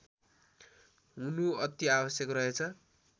हुनु अति आवश्यक रहेछ